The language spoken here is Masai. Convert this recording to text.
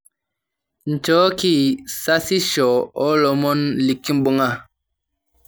nchooki sasisho oolomon lekimbunga